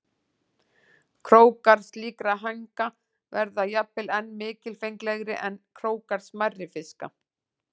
Krókar slíkra hænga verða jafnvel enn mikilfenglegri en krókar smærri fiska.